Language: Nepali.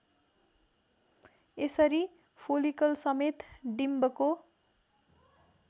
यसरी फोलिकलसमेत डिम्बको